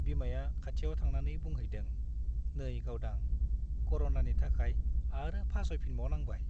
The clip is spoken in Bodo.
बिमाया खाथियाव थांनानै बुंहैदों , नै गावदां , कर'नानि थाखाय आरो फासयफिनबावनांबाय ।